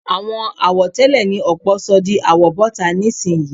Àwọn àwọ̀tẹ́lẹ̀ ni ọ̀pọ̀ sọ di àwọ̀bọ́ta nísìnyí